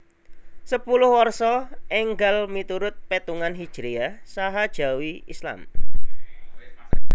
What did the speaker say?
Sepuluh Warsa énggal miturut pétungan Hijriyah saha Jawi Islam